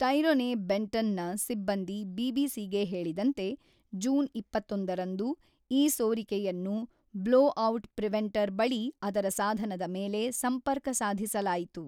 Tyrone Benton ನ ಸಿಬ್ಬಂದಿ BBC ಗೆ ಹೇಳಿದಂತೆ ಜೂನ್ ಇಪ್ಪತ್ತೊಂದು ರಂದು ಈ ಸೋರಿಕೆಯನ್ನು ಬ್ಲೊಔಟ್ ಪ್ರಿವೆಂಟರ್ ಬಳಿ ಅದರ ಸಾಧನದ ಮೇಲೆ ಸಂಪರ್ಕ ಸಾಧಿಸಲಾಯಿತು.